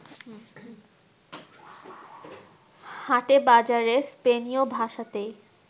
হাটে বাজারে স্পেনীয় ভাষাতেই